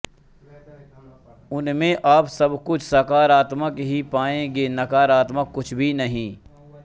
उनमें आप सब कुछ सकारात्मक ही पायेंगे नकारात्मक कुछ भी नहीं